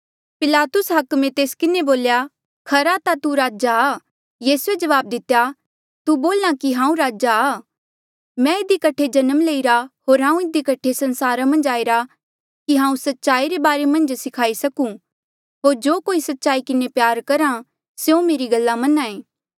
पिलातुस हाकमे तेस किन्हें बोल्या खरा ता तू राजा आ यीसूए जवाब दितेया तू बोल्हा कि हांऊँ राजा आ मैं इधी कठे जन्म लईरा होर हांऊँ इधी कठे संसारा मन्झ आईरा कि हांऊँ सच्चाई रे बारे मन्झ सिखाई सकूं होर जो कोई सच्चाई किन्हें प्यार करहा स्यों मेरी गल्ला मनाएं